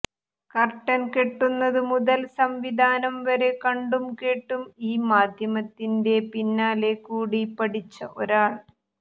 curtain കെട്ടുന്നതു മുതൽ സംവിധാനം വരെ കണ്ടും കേട്ടും ഈ മാധ്യമത്തിന്റെ പിന്നാലെകൂടി പഠിച്ച ഒരാൾ